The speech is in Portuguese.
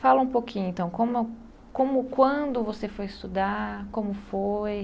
Fala um pouquinho então, como como quando você foi estudar, como foi?